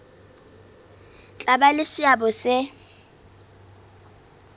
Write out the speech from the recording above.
tla ba le seabo se